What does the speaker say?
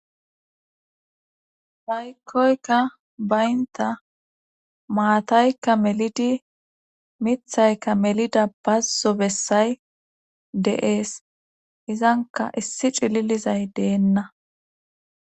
Aykkoykka baynta maataykka melidi mithaykka melida bazzo bessay de7ees izanka issi cililizay deenna